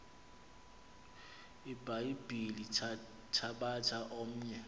ibhayibhile thabatha omnye